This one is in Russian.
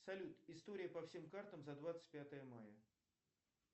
салют история по всем картам за двадцать пятое мая